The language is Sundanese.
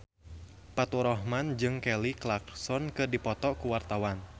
Faturrahman jeung Kelly Clarkson keur dipoto ku wartawan